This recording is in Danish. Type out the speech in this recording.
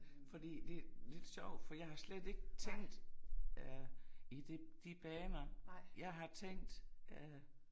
Fordi det lidt sjovt for jeg har slet ikke tænkt øh i det de baner jeg har tænkt øh